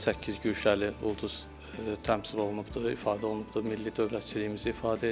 Orada səkkiz güşəli ulduz təmsil olunubdur, ifadə olunubdur, milli dövlətçiliyimizi ifadə edir.